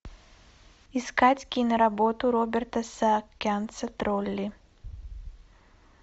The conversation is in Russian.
искать киноработу роберта саакянца тролли